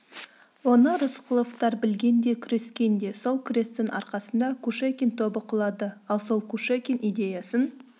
оны рысқұловтар білген де күрескен де сол күрестің арқасында кушекин тобы құлады ал сол кушекин идеясын